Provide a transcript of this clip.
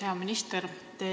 Hea minister!